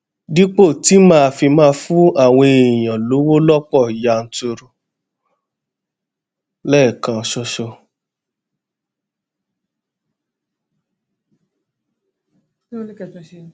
dípò tí màá fi máa fún àwọn èèyàn lówó lópò yanturu léèkan ṣoṣo